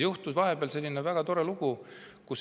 Vahepeal aga juhtus selline väga tore lugu.